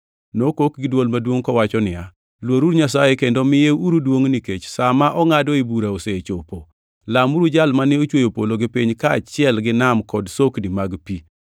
Nokok gi dwol maduongʼ kowacho niya, “Luoruru Nyasaye kendo miyeuru duongʼ, nikech sa ma ongʼadoe bura osechopo! Lamuru Jal mane ochweyo polo gi piny kaachiel gi nam kod sokni mag pi.”